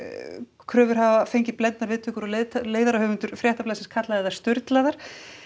kröfur hafa fengið blendnar viðtökur leiðarahöfundur Fréttablaðsins kallaði þær sturlaðar